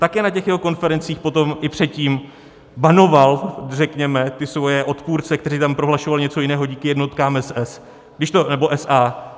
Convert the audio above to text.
Také na těch jeho konferencích potom i předtím banoval řekněme ty svoje odpůrce, kteří tam prohlašovali něco jiného díky jednotkám SS nebo SA.